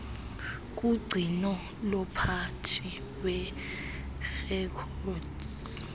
kugcino lomphathi weerekhodi